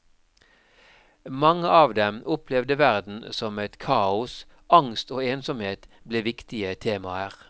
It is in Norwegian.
Mange av dem opplevde verden som et kaos, angst og ensomhet ble viktige temaer.